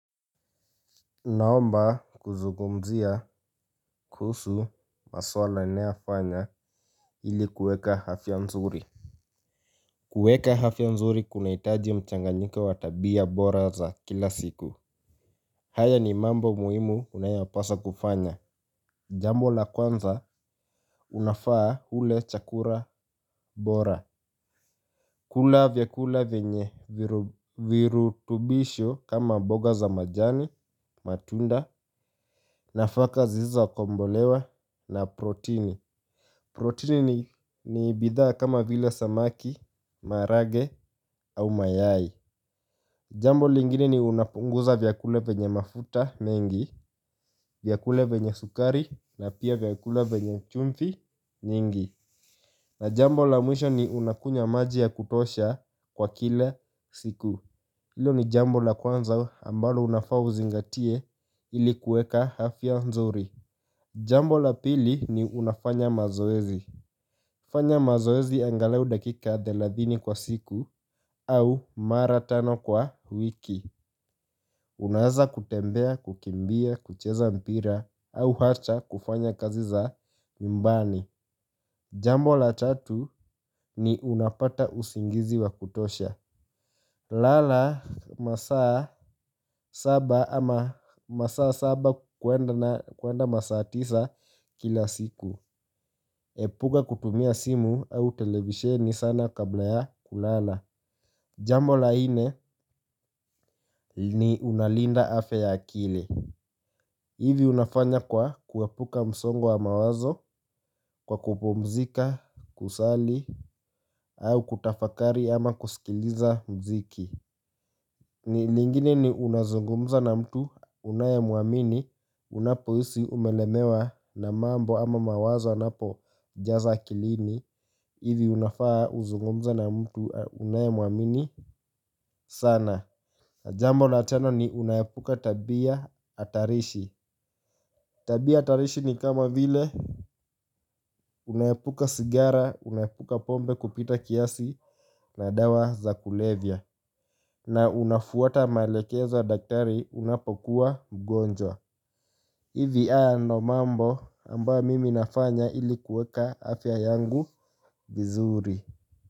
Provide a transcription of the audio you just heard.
Naomba kuzungumzia kuhusu masuala nayofanya ili kueka afya nzuri. Kueka afya nzuri kunahitaji mchanganyiko wa tabia bora za kila siku. Haya ni mambo muhimu unayopasa kufanya. Jambo la kwanza unafaa ule chakura bora. Kula vyakula vyenye virutubisho kama mboga za majani matunda nafaka ziza kombolewa na protini. Protein ni bidhaa kama vile samaki, marage au mayai. Jambo lingine ni unapunguza vyakula vyenye mafuta mengi, vyakula venye sukari na pia vyakula vyenye chumvi nyingi. Na jambo la mwisho ni unakunywa maji ya kutosha kwa kila siku hilo ni jambo la kwanza ambalo unafaa uzingatie ili kuweka afya nzuri. Jambo la pili ni unafanya mazoezi. Fanya mazoezi angalau dakika thelathini kwa siku au mara tano kwa wiki. Unaweza kutembea, kukimbia, kucheza mpira au hata kufanya kazi za nyumbani. Jambo la tatu ni unapata usingizi wa kutosha. Lala masaa saba ama masaa saba kuenda masaa tisa kila siku. Epuka kutumia simu au televisheni sana kabla ya kulala. Jambo la nne ni unalinda afya ya akili. Hivi unafanya kwa kuepuka msongo wa mawazo kwa kupumzika, kusali au kutafakari ama kusikiliza mziki. Ni lingine ni unazungumza na mtu unayemwamini unapohisi umelemewa na mambo ama mawazo anapojaza akilini hivi unafaa uzungumze na mtu unayemuamini sana. Na jambo na tano ni unaepuka tabia hatarishi. Tabia hatarishi ni kama vile unaepuka sigara, unaepuka pombe kupita kiasi na dawa za kulevya. Na unafuata maelekezo ya daktari unapokuwa mgonjwa. Ivi haya ndo mambo ambayo mimi nafanya ili kuweka afya yangu vizuri.